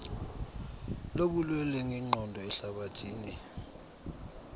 lobulwelwe ngenqondo ehlabathini